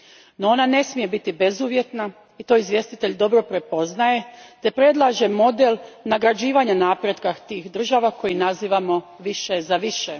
No, ona ne smije biti bezuvjetna i to izvjestitelj dobro prepoznaje te predlaže model nagrađivanja napretka tih država koji nazivamo više za više.